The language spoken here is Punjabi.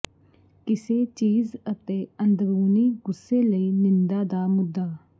ਕਿਸੇ ਚੀਜ਼ ਅਤੇ ਅੰਦਰੂਨੀ ਗੁੱਸੇ ਲਈ ਨਿੰਦਾ ਦਾ ਮੁੱਦਾ